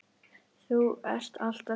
Þú ert alltaf hjá mér.